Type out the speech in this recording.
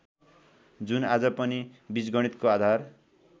जुन आज पनि बिजगणितको आधार